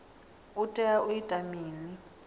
u tea u ita mini